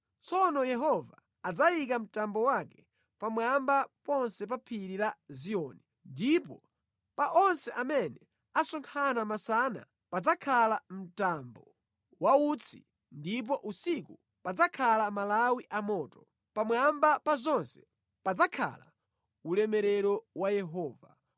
Tsono Yehova adzayika mtambo wake pamwamba ponse pa phiri la Ziyoni, ndipo pa onse amene asonkhana masana padzakhala mtambo wa utsi ndipo usiku padzakhala malawi amoto. Pamwamba pa zonse padzakhala ulemerero wa Yehova.